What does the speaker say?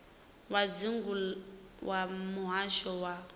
wa dzingu wa muhasho wa